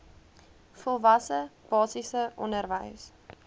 volwasse basiese onderwys